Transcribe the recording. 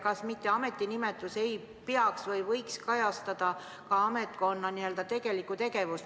Kas ametinimetus ei peaks kajastama või ei võiks kajastada ametkonna tegelikku tegevust.